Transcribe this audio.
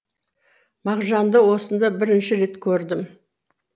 мағжанды осында бірінші рет көрдім